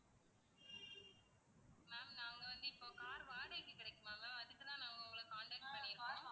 ma'am நாங்க வந்து இப்போ car வாடகைக்கு கிடைக்குமா ma'am அதுக்கு தான் நான் உங்களை contact பண்ணிருக்கோம்.